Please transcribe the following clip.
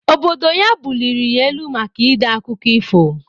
Obodo ya buliri ya elu maka ide akụkọ ifo